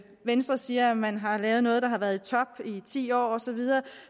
venstre siger at man har lavet noget der har været i top i ti år og så videre